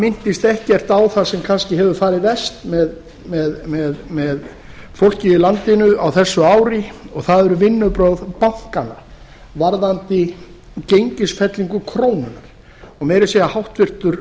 minntist ekkert á það sem kannski hefur farið verst með fólkið í landinu á þessu ári og það eru vinnubrögð bankanna varðandi gengisfellingu krónu og meira að segja háttvirtur